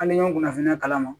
Hali n'an y'o kunnafoniya kala